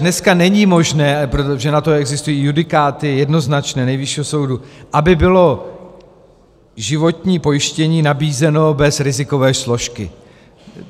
Dnes není možné, protože na to existují jednoznačné judikáty Nejvyššího soudu, aby bylo životní pojištění nabízeno bez rizikové složky.